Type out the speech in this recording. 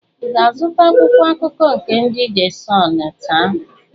Ị ga-azụta Akwụkwọ akụkọ nke ndị de Sunụ taa?